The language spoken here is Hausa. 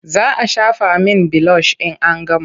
Za a shafa min bilosh in an gama.